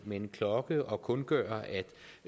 med en klokke og kundgøre